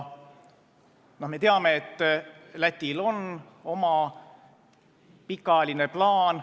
Ja me teame, et Lätil on oma pikaajaline plaan.